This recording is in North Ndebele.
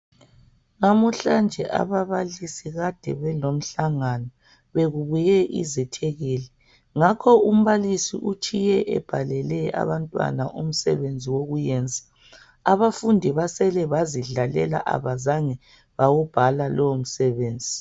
Namhlanje ababalisi kade belomhlangano bekubuye izethekeli ngakho umbalisi utshiye ebhalele abantwana umsebenzi wokuyenza abafundi basele bazidlalela abazange bawubhala lowo msebenzi.